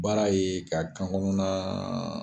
Baara ye ka kan konɔnna